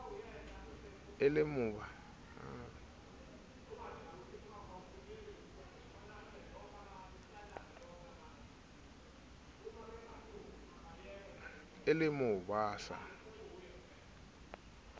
e le mo ba sa